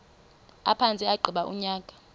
aphantse agqiba unyaka